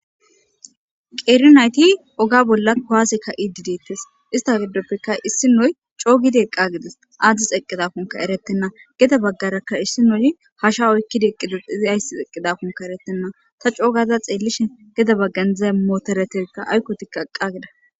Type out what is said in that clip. Qeerinayti oga bolla koaasekka idideettes ista giddoppeka issi nuy coogidi eqqa gides aadzdi xeqqidakunka eretenna geda baggarakka issi nuyi hasha oykkida eqqidexa izi ayssi xeqqidakunka eretenna ta coogaza xeellishe geda baggandza mootoreteta aykkoti qaqqa gida.